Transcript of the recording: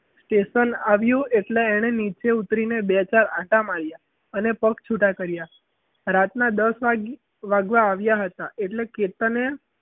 કેતન આવ્યો એટલે એણે નીચે ઉતરીને બે ચાર આંટા માર્યા એને પગ છૂટા કર્યા રાતના દસ વાગે વાગવા આવ્યા હતા એટલે કે તને